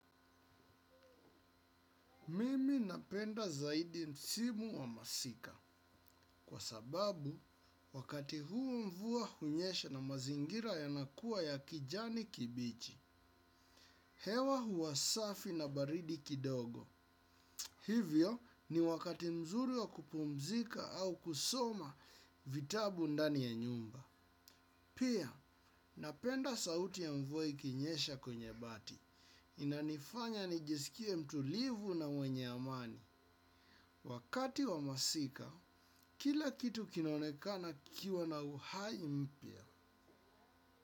Mimi napenda zaidi msimu wa masika. Kwa sababu, wakati huo mvua hunyesha na mazingira yanakuwa ya kijani kibichi. Hewa huwa safi na baridi kidogo. Hivyo ni wakati mzuri wa kupumzika au kusoma vitabu ndani ya nyumba. Pia, napenda sauti ya mvua ikinyesha kwenye bati. Inanifanya nijisikie mtulivu na mwenye amani. Wakati wa masika kila kitu kinaonekana kikiwa na uhai mpya.